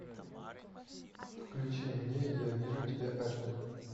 включи мне я вижу тебя аш ди